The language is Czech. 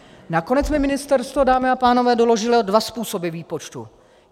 Nakonec mi ministerstvo, dámy a pánové, doložilo dva způsoby výpočtu.